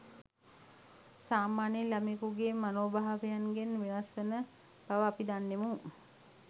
සාමාන්‍ය ළමයෙකුගේ මනෝභාවයන්ගෙන් වෙනස් වන බව අපි දන්නෙමු